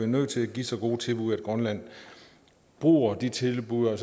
nødt til at give så gode tilbud at grønland bruger de tilbud og